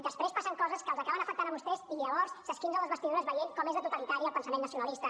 després passen coses que els acaben afectant a vostès i llavors s’esquincen les vestidures veient com és de totalitari el pensament nacionalista